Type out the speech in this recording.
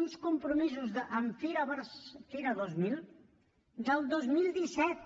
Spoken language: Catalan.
uns compromisos amb fira dos mil del dos mil disset